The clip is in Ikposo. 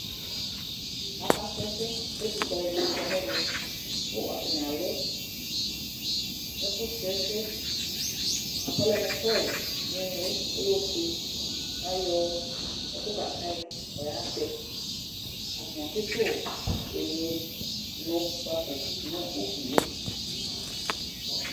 Akasrɔ ɛsɛ kʋ ɛtʋfue alʋɛdɩnɩ kɔ nʋ ɛvɛ kʋ atanɩ alɛ ɛkʋsrɔ ɛsɛ bʋa kʋ ɔlɛ mʋ tɔyɩ nʋ ɩɩlɩ Ɔlɛ ofue kʋ ayɔ ɛkʋ kaka yɩ kʋ ɔyatɛ Atanɩ atsɩtʋ ɛmʋnʋkpako nʋ ugli yɛ